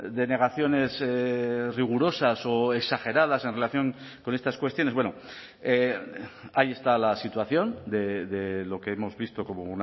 denegaciones rigurosas o exageradas en relación con estas cuestiones bueno ahí está la situación de lo que hemos visto como